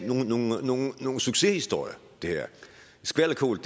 nogen succeshistorie skvalderkål